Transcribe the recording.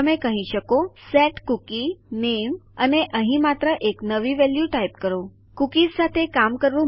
તમે કહી શકો સેટ કૂકી નામે અને અહીં માત્ર નવી વેલ્યુ ટાઇપ કરો કુકીઝ સાથે કામ કરવું મુશ્કેલ નથી